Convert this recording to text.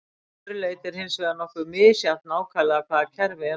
Að öðru leyti er hins vegar nokkuð misjafnt nákvæmlega hvaða kerfi er notað.